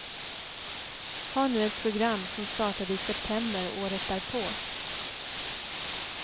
Har nu ett program som startade i september året därpå.